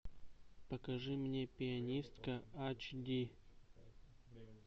покажи мне пианистка ач ди